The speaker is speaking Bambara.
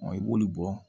i b'olu bɔ